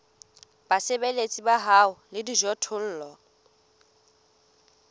basebeletsi ba hao le dijothollo